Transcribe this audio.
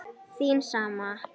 Þín sama